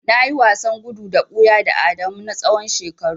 Nayi wasan gudu ka buya da Adamu na tsawon shekaru.